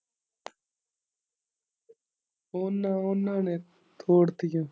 ਉਨਾਂ, ਉਨਾਂ ਨੇ ਤੋੜਤੀ ਆ।